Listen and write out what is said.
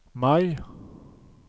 Mai